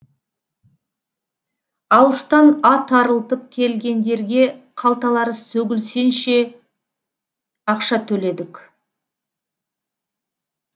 алыстан ат арылтып келгендерге қалталары сөгілсенше ақша төледік